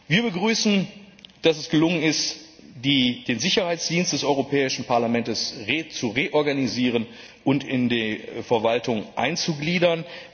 Wir begrüßen, dass es gelungen ist, den Sicherheitsdienst des Europäischen Parlaments zu reorganisieren und in die Verwaltung einzugliedern.